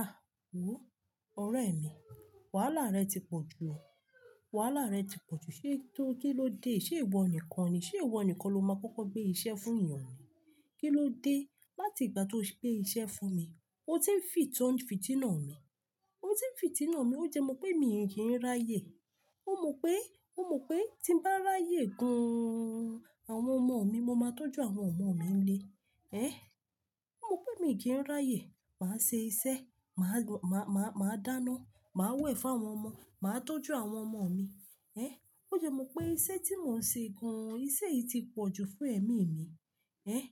Ah! Wo ọ̀rẹ́ mi, wàhálà rẹ̀ ti pọ̀ jù, wàhálà rẹ̀ ti pọ̀ jù. Ṣé to, kí ló dé? Ṣé ìwọ nìkan ni, ṣe ìwọ nìkan lo máa kọ́kọ́ gbé iṣẹ́ fún ènìyàn ni? Kí ló dé láti ìgbà tó gbé iṣẹ́ fún mi? Ó ti ń fìtọ̀ ń fìtì náà mi. Ó ti ń fìtì náà mi, ó dẹ mọ̀ pé mi kì í ráyè. Ó mọ̀ pé, ó mọ̀ pé tí n bá ráyè gan àwọn ọmọ mi, mo máa tọ́jú àwọn ọmọ mi nle. Ẹ̀! Ó mọ̀ pé mi kì í ráyè. Màá ṣe iṣẹ́, màá, màá, màá dáná, màá wẹ̀ fún àwọn ọmọ, màá tọ́jú àwọn ọmọ mi. Ẹ̀! Ó jẹ mọ̀ pé iṣẹ́ tí mò ń ṣe gan, iṣẹ́ yìí ti pọ̀jù fún ẹ̀mí mi. Ẹ̀!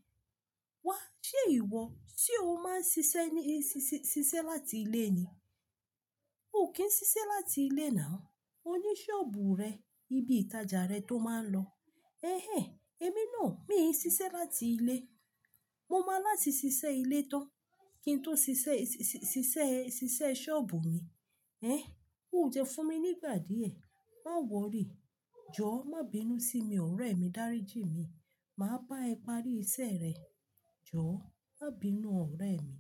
Wá, ṣé ìwọ, ṣé o máa ń ṣiṣẹ́ ní, ṣiṣẹ́ láti ilé ni? Ó kì í ṣiṣẹ́ láti ilé nào, ó ní ṣọ́ọ̀bù rẹ̀, ibi ìtajà rẹ̀ tó máa ń lọ. Ehén! Èmi náà, mi ò ní ṣiṣẹ́ láti ilé. Mo máa láti ṣiṣẹ́ ilé tán kí n tó ṣiṣẹ́, ṣiṣẹ́, ṣiṣẹ́ ṣọ́ọ̀bù mi. Ẹ̀! Ó jẹ fún mi nígbà díẹ̀. Má wọ́rí, jọ̀ọ́ má bí inú sí mi ọ̀rẹ́ mi, dáríji mi. Màá bá ẹ parí iṣẹ́ rẹ̀. Jọ̀ọ́ má bí inú ọ̀rẹ́ mi.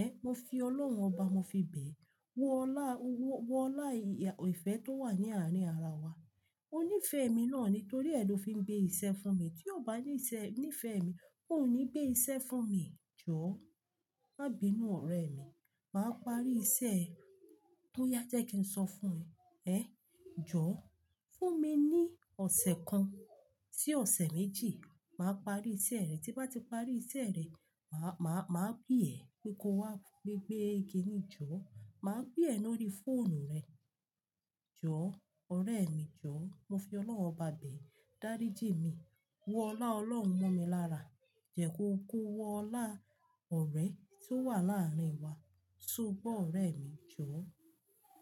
Ẹ̀! Mo fi Ọlọ́run ọba mo fi bẹ̀ ẹ́. Wo ọlá, wọ lá ìyà, ìfẹ́ tó wà ní àárín ara wa. Ó nífẹ̀ẹ́ mi náà nítorí ẹ lo fi ń gbé iṣẹ́ fún mi. Tí ó bá yí iṣẹ́, nífẹ̀ẹ́ mi, ó ò ní gbé iṣẹ́ fún mi. Jọ̀ọ́ má bí inú ọ̀rẹ́ mi. Màá parí iṣẹ́ tó yá jẹ́ kí n sọ fún ẹ. Ẹ̀! Jọ̀ọ́ fún mi ní ọ̀sẹ̀ kan sí ọ̀sẹ̀ méjì, màá parí iṣẹ́ rẹ̀. Tí bá ti parí iṣẹ́ rẹ̀, màá, màá, màá pè ẹ́ pé ko wá gbé, gbé igi ni. Jọ̀ọ́ màá pè ẹ lórí fóònù rẹ. Jọ̀ọ́ ọ̀rẹ́ mi, jọ̀ọ́. Mo fi Ọlọ́run ọba bẹ̀ ẹ́, dáríji mi. Wọ lá Ọlọ́run mọ́ mi lára. Jẹ ko ko wo ọlá ọ̀rẹ́ tí ó wà láàárín wa. Ṣoó gbọ́ ọ̀rẹ́ mi, jọ̀ọ́.